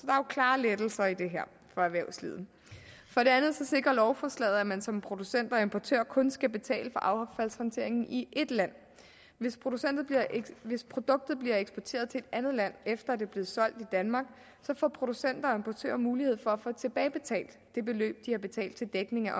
klare lettelser i det her for erhvervslivet for det andet sikrer lovforslaget at man som producent og importør kun skal betale for affaldshåndteringen i ét land hvis hvis produktet bliver eksporteret til et andet land efter at det er blevet solgt i danmark så får producenter og importører mulighed for at få tilbagebetalt det beløb de har betalt til dækning af